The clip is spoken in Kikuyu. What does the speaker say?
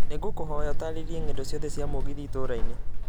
nĩ ngũkũhoya ũtaarĩria ng'endo ciothe cia mũgithi itũũra-inĩ